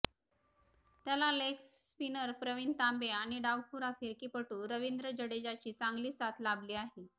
त्याला लेगस्पिनर प्रवीण तांबे आणि डावखुरा फिरकीपटू रवींद्र जडेजाची चांगली साथ लाभली आहे